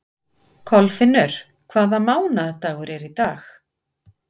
Kolfinnur, hvaða mánaðardagur er í dag?